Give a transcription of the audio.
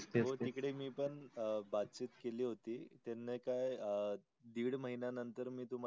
हो तिकडे मी पण अ बातचीत केली होती त्यांनी नायका दिड महिन्या नतर मी तुम्हाला